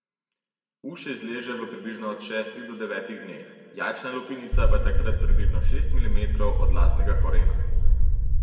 Uš se izleže v približno od šestih do devetih dneh, jajčna lupinica pa je takrat približno šest milimetrov od lasnega korena.